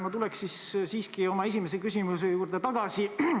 Ma tulen siiski oma esimese küsimuse juurde tagasi.